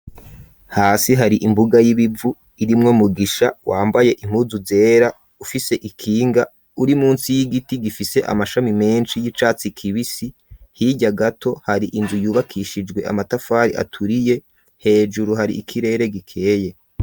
Hasi hari imbuga y'ibivu irimwo Mugisha wambaye impuzu zera, ufise ikinga uri munsi y'igiti gifise amashami menshi y'icatsi kibisi, hirya gato hari inzu yubakishijwe amatafari aturiye, hejuru hari ikirere gikeye.